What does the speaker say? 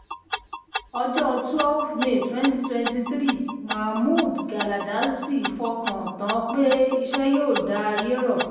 ọjọ́ twelve may twenty twenty three mahmud galadanci fọkàn tán pé iṣẹ́ yóò dá ayé rọ̀.